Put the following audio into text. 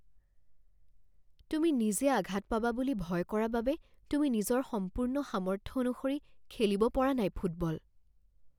তুমি নিজে আঘাত পাবা বুলি ভয় কৰা বাবে তুমি নিজৰ সম্পূৰ্ণ সামৰ্থ্য অনুসৰি খেলিব পৰা নাই ফুটবল